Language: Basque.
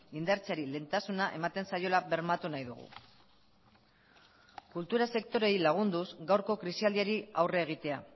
indartzeari lehentasuna ematen zaiola bermatu nahi dugu kultura sektoreei lagunduz gaurko krisialdiari aurre egitea